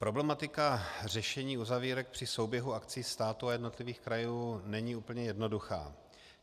Problematika řešení uzavírek při souběhu akcí státu a jednotlivých krajů není úplně jednoduchá.